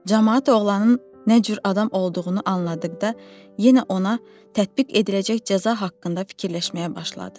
Camaat oğlanın nə cür adam olduğunu anladıqda, yenə ona tətbiq ediləcək cəza haqqında fikirləşməyə başladı.